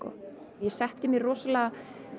ég setti mér rosalega